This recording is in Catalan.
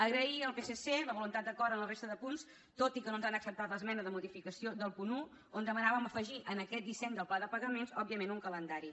agrair al psc la voluntat d’acord en la resta de punts tot i que no ens han acceptat l’esmena de modificació del punt un on demanàvem afegir en aquest disseny del pla de pagaments òbviament un calendari